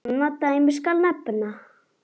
Annað dæmi skal nefna.